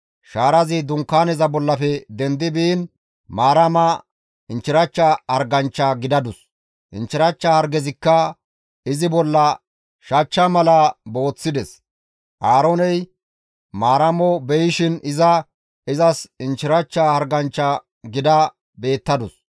Shaarazi dunkaaneza bollafe dendi biin Maarama inchchirachcha harganchcha gidadus; inchchirachcha hargezikka izi bolla shachcha mala booththides; Aarooney Maaramo beyishin iza izas inchchirachcha harganchcha gida beettadus.